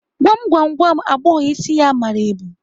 Gwam gwam, gwa m agbọghọ isi ya mara ebu?